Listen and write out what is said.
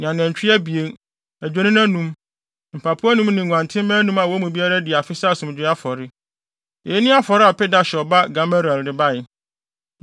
ne anantwi abien, adwennini anum, mpapo anum ne nguantenmma anum a wɔn mu biara adi afe sɛ asomdwoe afɔre. Eyi ne afɔre a Pedahsur ba Gamaliel de bae.